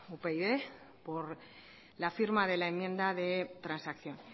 upyd por la firma de la enmienda de transacción